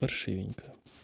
поршивенько